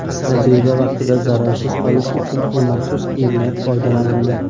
Tajriba vaqtida zararsiz qolish uchun u maxsus kiyimdan foydalanadi.